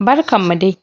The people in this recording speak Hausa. Barkan mu dai!